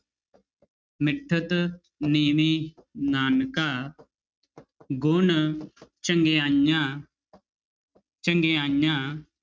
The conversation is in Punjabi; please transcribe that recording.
ਮਿਠਤੁ ਨੀਵੀ ਨਾਨਕਾ ਗੁਣ ਚੰਗਿਆਈਆ ਚੰਗਿਆਈਆਂ